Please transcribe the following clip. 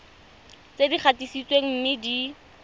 tse di gatisitsweng mme di